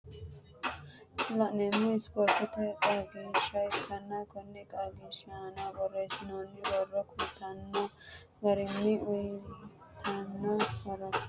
Kuni laneemmohu ispoortete qagiishsha ikkanna Konni qaagiishi aana boreesinooni boro kulttanno garinno uyiitano horonna rosiisanchchu aano aanamoshshe kulanoha ikkanna rosiisaanchu sumino sebsibeeti